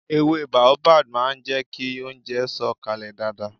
Èwe baobab máà ń jẹ kí oúnjẹ sọ̀ kalẹ̀ dáadáa